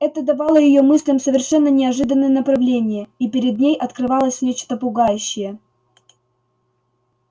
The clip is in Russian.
это давало её мыслям совершенно неожиданное направление и перед ней открывалось нечто пугающее